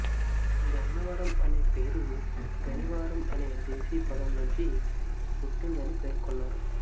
గన్నవరం అనే పేరు గనివారం అనే దేశీపదం నుంచి పుట్టిందని పేర్కొన్నారు